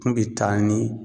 Kun bi taa ni